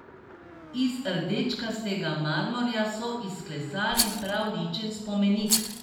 Iz rdečkastega marmorja so izklesali prav ličen spomenik.